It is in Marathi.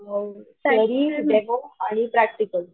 थेरी डेमो आणि प्रॅक्टिकल.